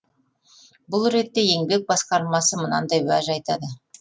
бұл ретте еңбек басқармасы мынандай уәж айтады